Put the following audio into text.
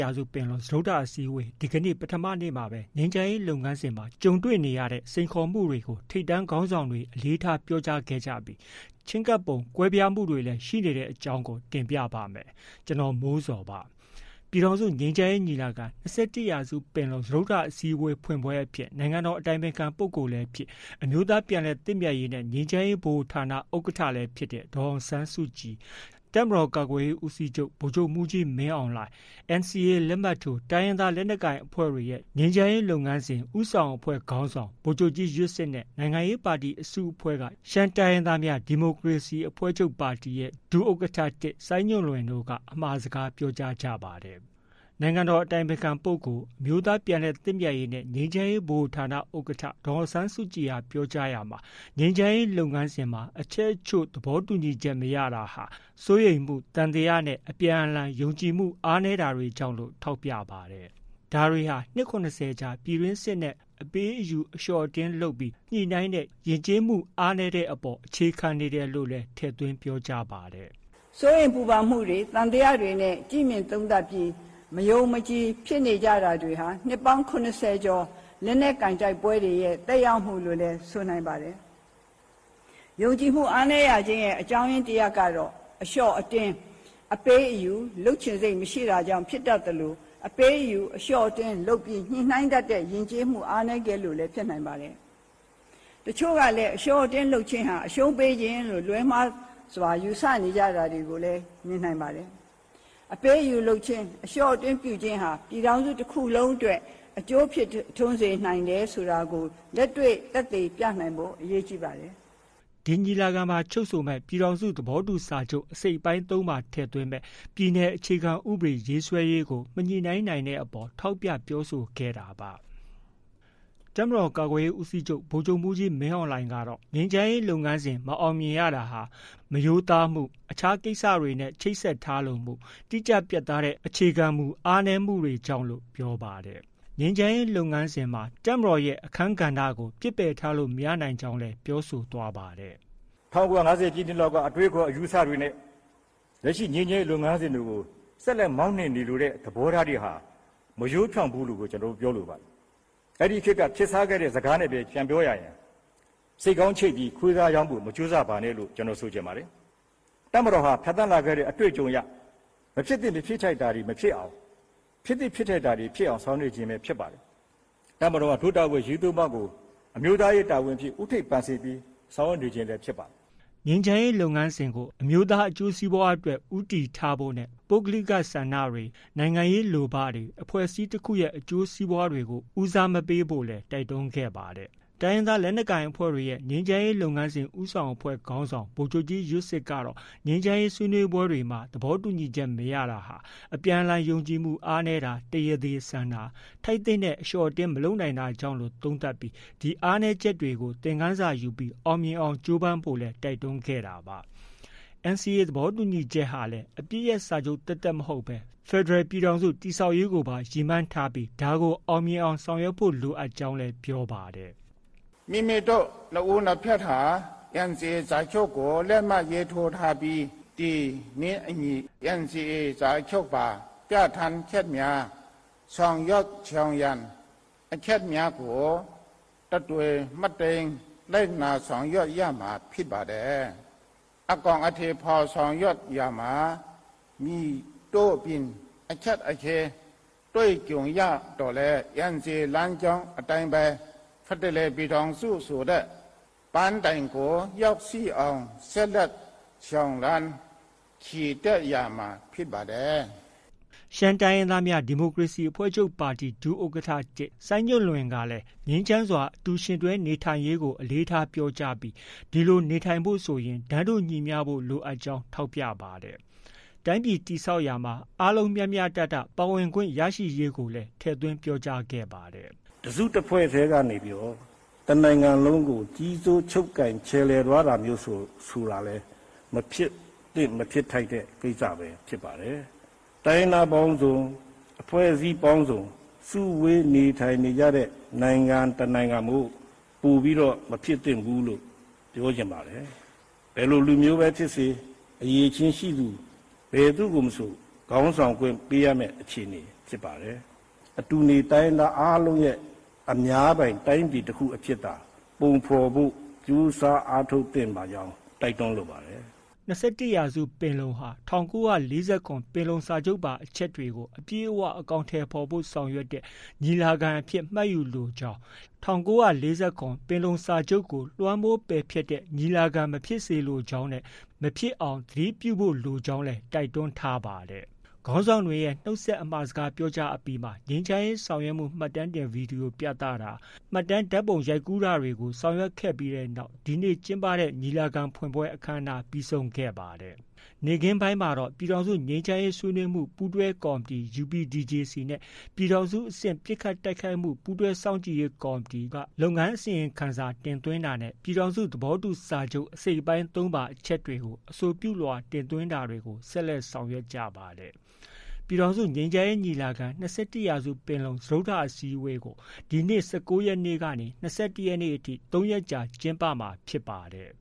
ရာစုပင်လုံ စတုတ္ထအစည်းအဝေး ဒီကနေ့ ပထမနေ့မှာပဲ ငြိမ်းချမ်းရေးလုပ်ငန်းစဉ်မှာ ကြုံတွေ့နေရတဲ့ စိန်ခေါ်မှုတွေကို ထိပ်တန်းခေါင်းဆောင်တွေ အလေးထား ပြောကြားခဲ့ကြပြီး ချဉ်းကပ်ပုံကွဲပြားမှုတွေလည်း ရှိနေတဲ့အကြောင်းကို တင်ပြပါမယ်။ ဗွီအိုအေမြန်မာပိုင်းသတင်းထောက် ကိုမိုးဇော်က သတင်းပေးပို့ထားပါတယ်။ ပြည်ထောင်စုငြိမ်းချမ်းရေးညီလာခံ- ၂၁ ရာစုပင်လုံ စတုတ္ထအစည်းအဝေး ဖွင့်ပွဲအဖြစ် နိုင်ငံတော် အတိုင်ပင်ခံပုဂ္ဂိုလ်လည်းဖြစ် အမျိုးသားပြန်လည်သင့်မြတ်ရေးနဲ့ ငြိမ်းချမ်းရေးဗဟိုဌာန ဥက္ကဋ္ဌလည်းဖြစ်တဲ့ ဒေါ်အောင်ဆန်းစုကြည်၊ တပ်မတော်ကာကွယ်ရေးဦးစီးချုပ် ဗိုလ်ချုပ်မှုးကြီးမင်းအောင်လှိုင်၊ NCA လက်မှတ်ထိုး တိုင်းရင်သား လက်နက်ကိုင်အဖွဲ့တွေရဲ့ ငြိမ်းချမ်းရေး လုပ်ငန်းစဉ် ဦးဆောင်အဖွဲ့ ခေါင်းဆောင် ဗိုလ်ချုပ်ကြီး ယွတ်စစ်၊ နိုင်ငံရေးပါတီအစုအဖွဲ့က ရှမ်းတိုင်းရင်းသားများ ဒီမိုကရေစီအဖွဲ့ချုပ် ဒုဥက္ကဋ္ဌ ၁ စိုင်းညွန့်လွင့် အမှာစကားပြောကြားကြပါတယ်။ နိုင်ငံတော် အတိုင်ပင်ခံပုဂ္ဂိုလ်၊ အမျိုးသားပြန်လည်သင့်မြတ်ရေးနဲ့ ငြိမ်းချမ်းရေးဗဟိုဌာန ဥက္ကဋ္ဌ ဒေါ်အောင်ဆန်းစုကြည် ပြောကြားရာမှာ ငြိမ်းချမ်းရေးလုပ်ငန်းစဉ်မှာ အချက်အချို့ သဘောတူညီချက် မရတာဟာ စိုးရိမ်မှု၊ သံသယနဲ့ အပြန်အလှန် ယုံကြည်မှု အားနည်းတွေကြောင့်လို့ ထောက်ပြပါတယ်။ ဒါဟာ နှစ် ၇၀ ကြာ ပြည်တွင်းစစ်နဲ့ အပေး၊ အယူ၊ အလျှော့၊ အတင်းလုပ်ပြီး ညှိနှိုင်းတဲ့ ယဉ်ကျေးမှု အားနည်းမှုတွေအပေါ် အခြေခံနေတယ်လို့လည်း ထည့်သွင်းပြောကြားပါတယ်။ “စိုးရိမ်ပူပန်မှုတွေ၊ သံသယနဲ့ သုံးသပ်ပြီး မယုံမကြည်ဖြစ်နေတာတွေဟာ နှစ်ပေါင်း ၇၀ ကျော် လက်နက်ကိုင် တိုက်ပွဲတွေရဲ့ သက်ရောက်မှုလို့လည်း ဆိုနိုင်ပါတယ်။ ယုံကြည်မှုအားနည်းရခြင်းရဲ့ အကြောင်းတစ်ရပ်က အလျှော့-အတင်း၊ အပေး-အယူ လုပ်ချင်စိတ် မရှိတာကြောင့် ဖြစ်တတ်သလို အပေး-အယူ၊ အလျှော့-အတင်း လုပ်ပြီး ညှိနှိုင်းတတ်တဲ့ ယဉ်ကျေးမှုအားနည်းခဲ့လို့လည်း ဖြစ်နိုင်ပါတယ်။ တချို့ကလည်း အလျှော့-အတင်းလုပ်ခြင်းဟာ အရှုံးပေးခြင်းလို့ လွဲမှားစွာ ယူဆနေတာတွေလည်း ရှိနိုင်ပါတယ်။ အပေး-အယူလုပ်ခြင်း၊ အလျှော့-အတင်း ပြုခြင်းကြောင့် ပြည်ထောင်စု တစ်ခုလုံးအတွက် အကျိုးရှိစေတယ်ဆိုတာကို လက်တွေ့ သက်သေပြနိုင်ဖို့ အရေးကြီးပါတယ်။” ဒီညီလာခံမှာ ချုပ်ဆိုမဲ့ ပြည်ထောင်စုသဘောတူစာချုပ် အစိတ်အပိုင်း၃မှာ ထည့်သွင်းမယ့် ပြည်နယ်အခြေခံဥပဒေ ရေးဆွဲရေးကို မညှိနှိုင်းနိုင်ခဲ့တဲ့အပေါ် ထောက်ပြပြောဆိုခဲ့တာပါ။ တပ်မတော်ကာကွယ်ရေးဦးစီးချုပ် ဗိုလ်ချုပ်မှုးကြီး မင်းအောင်လှိုင်ကတော့ ငြိမ်းချမ်းရေးလုပ်ငန်းစဉ် မအောင်မြင်ရတာဟာ မရိုးသားမှု၊ အခြားကိစ္စတွေနဲ့ ချိတ်ဆက်ထားလိုမှု၊ တိကျပြတ်သားတဲ့အခြေခံမူတွေ အားနည်းမှုတွေကြောင့်လို့ ပြောပါတယ်။ ငြိမ်းချမ်းရေးလုပ်ငန်းစဉ် တပ်မတော်ရဲ့ အခန်းကဏ္ဍကို ပစ်ပယ်ထားလို့ မရနိုင်ကြောင်းလည်း ပြောဆိုသွားပါတယ်။ “၁၉၅ဝ ပြည့်နှစ်လောက်က အတွေးအခေါ် အယူအဆတွေနဲ့ လက်ရှိငြိမ်းချမ်းရေးလုပ်ငန်းစဉ်တွေကို ဆက်လက် မောင်းနှင်နေလိုတဲ့ သဘောထားတွေဟာ မရိုးဖြောင့်ဘူးလို့ဘဲ ကျနော်တို့ ပြောလိုပါတယ်။ အဲ့ဒီခေတ်က ခေတ်စားခဲ့တဲ့စကားနဲ့ပဲ ပြန်ပြောရရင် “ဆိတ်ခေါင်းချိတ်ပြီး ခွေးသားရောင်းဖို့ မကြိုးစားပါနဲ့။” လို့ပဲ ဆိုချင်ပါတယ်။ တပ်မတော်ဟာ ဖြတ်သန်းလာခဲ့တဲ့ အတွေ့အကြုံအရ မဖြစ်သင့်မဖြစ်ထိုက်တာ တွေမဖြစ်အောင်၊ ဖြစ်သင့်ဖြစ်ထိုက်တာတွေဖြစ်အောင် ဆောင်ရွက်နေခြင်း ဖြစ်ပါတယ်။ တပ်မတော်ဟာ ဒို့တာဝန်အရေး ၃ ပါးကို အမျိုးသားရေး တာဝန်အဖြစ် ဦးထိပ်ပန်ဆင်ပြီး ဆောင်ရွက်နေခြင်းပဲဖြစ်ပါတယ်။” ငြိမ်းချမ်းရေးလုပ်ငန်းစဉ်ကို အမျိုးသားအကျိုးစီးပွားအတွက် ဦးတည်ချက်ထားဖို့၊ ပုဂ္ဂလိကဆန္ဒတွေ၊ နိုင်ငံရေး လိုဘတွေ၊ အဖွဲ့အစည်းတစ်ခုရဲ့ အကျိုးစီးပွားတွေကို ဦးစားမပေးဖို့လည်း တိုက်တွန်းခဲ့ပါတယ်။ တိုင်းရင်သားလက်နက်ကိုင်အဖွဲ့တွေရဲ့ ငြိမ်းချမ်းရေး လုပ်ငန်းစဉ် ဦးဆောင်အဖွဲ့ ခေါင်းဆောင် ဗိုလ်ချုပ်ကြီး ယွတ်စစ်ကတော့ ငြိမ်းချမ်းရေး ဆွေးနွေးပွဲတွေမှာ သဘောတူညီချက် မရတာတွေဟာ အပြန်အလှန်ယုံကြည်မှု အားနည်းတာ၊ တရားသေဆန်တာ၊ ထိုက်သင့်တဲ့ အလျှော့အတင်းမလုပ်နိုင်တာကြောင့်လို့ သုံးသပ်ကြောင်းနဲ့ ဒီအားနည်းချက်တွေကို သင်ခန်းစာယူပြီး အောင်မြင်အောင် ကြိုးပမ်းဖို့လည်း တိုက်တွန်းခဲ့တာပါ။ NCA သဘောတူညီချက်ဟာလည်း အပစ်ရပ်စာချုပ် သက်သက်မဟုတ်ဘဲ ဖက်ဒရယ်ပြည်ထောင်စု တည်ဆောက်ရေးကိုပါ ရည်မှန်းပြီး အောင်မြင်အောင် ဆောင်ရွက်ဖို့လိုကြောင်းလည်း ပြောပါတယ်။ “ဒီလိုဆောင်ရွက်နိုင်ဖို့အတွက် NCA စာချုပ်မှာ လမ်းပြမြေပုံ ၇ ဆင့်ကို တိတိကျကျ သတ်မှတ်ပေးထားပြီး ဖြစ်ပါတယ်။ NCA စာချုပ် အကောင်အထည်ဖော်ဆောင်ရွက်ရာမှာ လမ်းပြမြေပုံ ၇ ဆင့်အတိုင်း မလွဲမသွေ ဆောင်ရွက်သွားရမှာ ဖြစ်ပါတယ်။ ” ရှမ်းတိုင်းရင်းသားများ ဒီမိုကရေစီအဖွဲ့ချုပ် ဒုဥက္ကဋ္ဌ ၁ စိုင်းညွှန်လွင်တို့ကလည်း ငြိမ်းချမ်းစွာ အတူယှဉ်တွဲနေထိုင်ရေးကို အလေးထားပြောကြားပြီး ဒီလို နေထိုင်ဖို့ ဆိုရင် တန်းတူညီမျှဖို့ လိုအပ်ကြောင်း ထောက်ပြပါတယ်။ တိုင်းပြည်တည်ဆောက်ရာမှာ အားလုံးမျှမျှတတ ပါဝင်ခွင့်ရရေးကိုလည်း ထည့်သွင်း ပြောကြားခဲ့ပါတယ်။ “တစ်စု တစ်ဖွဲ့ထဲက နိုင်ငံတစ်ခုလုံးကို ကြီးစိုး ချုပ်ကိုင် ခြယ်လှယ်သွားတာမျိုးဆိုတာလည်း မဖြစ်သင့် မဖြစ်ထိုက်တဲ့ ကိစ္စပဲ ဖြစ်ပါတယ်။ တိုင်းရင်းသားပေါင်းစုံ၊ အဖွဲ့အစည်းပေါင်းစုံ စုဝေးနေထိုင်ကြတဲ့ နိုင်ငံတစ်နိုင်ငံမို့ ပိုပြီး မဖြစ်သင့်ဘူးလို့ ပြောချင်ပါတယ်။ ဘယ်လိုလူမျိုးပဲ ဖြစ်ပါစေ၊ အရည်အချင်းရှိသူ ဘယ်သူမဆို ခေါင်းဆောင်ခွင့် ပေးရမယ့် အခြေအနေ ဖြစ်ပါတယ်။ အတူနေ တိုင်းရင်းသားအားလုံးရဲ့ အများပိုင် တိုင်းပြည်တစ်ခုအဖြစ်သာ ပုံဖော်ဖို့ ကြိုးစားအားထုတ်သင့်ပါတယ်လို့ တိုက်တွန်းလိုပါတယ်။” ၂၁ ရာစုပင်လုံဟာ ၁၉၄၇ ပင်လုံစာချုပ်ပါ အချက်တွေကို အပြည့်အ၀ အကောင်အထည်ဖော်ဖို့ ဆောင်ရွက်တဲ့ ညီလာခံအဖြစ် မှတ်ယူလိုကြောင်း၊ ၁၉၄၇ ပင်လုံစာချုပ်ကို လွှမ်းမိုးပယ်ဖျက်တဲ့ ညီလာခံမဖြစ်စေလိုကြောင်းနဲ့ မဖြစ်အောင် သတိပြုဖို့လိုကြောင်းလည်း တိုက်တွန်းထားပါတယ်။ ခေါင်းဆောင်တွေရဲ့ နုတ်ခွန်းဆက် အမှာစကားပြောကြားအပြီးမှာ ငြိမ်းချမ်းရေးဆောင်ရွက်မှု မှတ်တမ်းဗွီဒီယို ပြသတာ၊ မှတ်တမ်းဓါတ်ပုံရိုက်ကူးတာတွေ ပြီးဆုံးတဲ့နောက် ဒီနေ့ ကျင်းပတဲ့ညီလာခံ ဖွင့်ပွဲ အခမ်းအနားပြီးဆုံးခဲ့ပါတယ်။ နေ့ခင်းပိုင်းမှာတော့ ပြည်ထောင်စု ငြိမ်းချမ်းရေးဆွေးနွေးမှု ပူးတွဲကော်မတီ UPDJC နဲ့ ပြည်ထောင်စုအဆင့် ပစ်ခတ်တိုက်ခိုက်မှု ပူးတွဲစောင့်ကြည့်ရေးကော်မတီက လုပ်ငန်းအစီရင်ခံစာတင်သွင်းတာနဲ့ ပြည်ထောင်စု သဘောတူစာချုပ် အစိတ်အပိုင်း ၃ပါ အချက်တွေကို အဆိုပြုလွှာတင်သွင်းတာတွေကို ဆက်လက် ဆောင်ရွက်ခဲ့ပါတယ်။ ပြည်ထောင်စုငြိမ်းချမ်းရေးညီလာခံ - ၂၁ ရာစုပင်လုံ စတုတ္ထအစည်းအဝေးကို ဒီနေ့ ၁၉ ရက်နေ့ကနေ ၂၁ ရက်နေ့အထိ ၃ ရက် ကျင်းပမှာ ဖြစ်ပါတယ်